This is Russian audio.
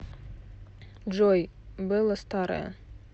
джой белла старая